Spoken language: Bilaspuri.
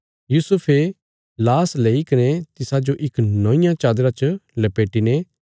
यूसुफे लाश लेई कने तिसाजो इक नौंईयां चादरा च लपेटी ने